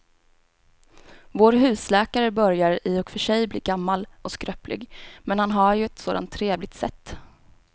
Vår husläkare börjar i och för sig bli gammal och skröplig, men han har ju ett sådant trevligt sätt!